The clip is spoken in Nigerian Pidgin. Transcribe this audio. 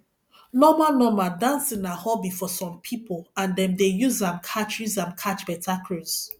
normal normal dancing na hobby for some pipo and dem dey use am catch use am catch better cruise